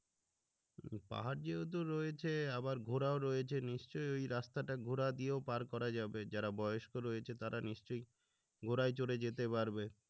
শুধু পাহাড় যেহেতু রয়েছে আবার ঘোড়াও রয়েছে নিশ্চয়ই ওই রাস্তাটা ঘোড়া দিয়েও পার করা যাবে যারা বয়স্ক রয়েছে তারা নিশ্চয়ই ঘোড়ায় চড়ে যেতে পারবে